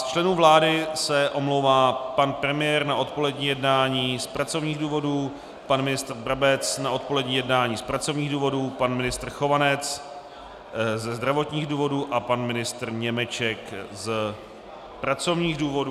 Z členů vlády se omlouvá pan premiér na odpolední jednání z pracovních důvodů, pan ministr Brabec na odpolední jednání z pracovních důvodů, pan ministr Chovanec ze zdravotních důvodů a pan ministr Němeček z pracovních důvodů.